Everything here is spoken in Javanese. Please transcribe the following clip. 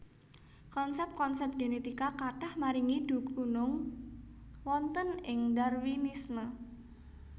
Konsép konsép génétika kathah maringi dhukunung wonten ing Darwinisme